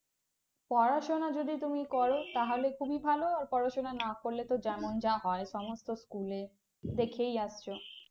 পড়াশোনা যদি তুমি যদি করো তাহলে তুমি ভালো আর পড়াশোনা না করলে তো জানোই যা হয় সমস্ত স্কুলে দেখেই আসছো